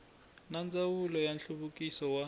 na ndzawulo ya nhluvukiso wa